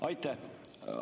Aitäh!